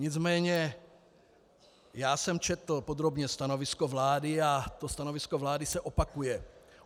Nicméně já jsem četl podrobně stanovisko vlády a to stanovisko vlády se opakuje.